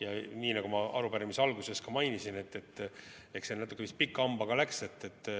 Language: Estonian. Ja nii nagu ma arupärimise alguses ka mainisin, et eks see natuke pika hambaga läks.